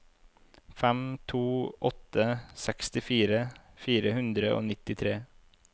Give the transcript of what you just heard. fem to åtte fire sekstifire fire hundre og nittitre